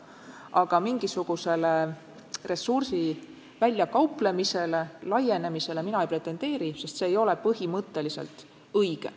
Aga mingisugusele ressursi väljakauplemisele, laienemisele mina ei pretendeeri, sest see ei ole põhimõtteliselt õige.